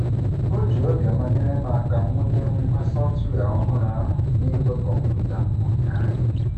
O ji obiọma nyere m aka wụnye ngwa sọftwịa ọhụrụ ahụ n'igwe kọmputa m ụnyaahụ.